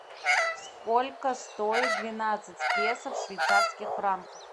сколько стоит двенадцать песо в швейцарских франках